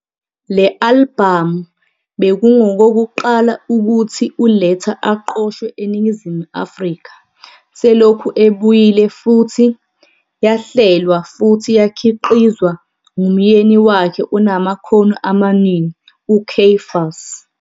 Le albhamu bekungokokuqala ukuthi uLetta aqoshwe eNingizimu Afrika selokhu ebuyile futhi yahlelwa futhi yakhiqizwa ngumyeni wakhe onamakhono amaningi uCaiphus.